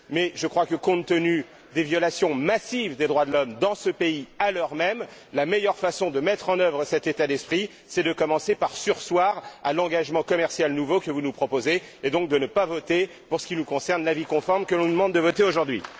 Mais je crois que, compte tenu des violations massives des droits de l'homme dans ce pays, à l'heure même, la meilleure façon de mettre en œuvre cet état d'esprit, c'est de commencer par surseoir à l'engagement commercial nouveau que vous nous proposez, et donc de ne pas voter pour ce qui nous concerne l'avis conforme que l'on nous demande de voter aujourd'hui.